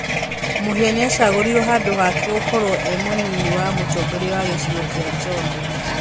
Mũhĩa nĩacagũrirwo handũhake gũkorwo e mũnyinyi wa mũtongoria wa gĩcigo kĩa Njombe